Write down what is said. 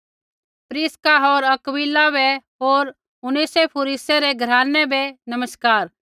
प्रिसका होर अक्विला बै होर उनेसिफुरूसै रै घरानै बै मेरा नमस्कार